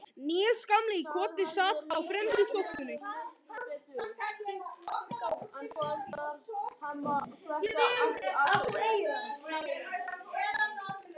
Níels gamli í Koti sat á fremstu þóftunni.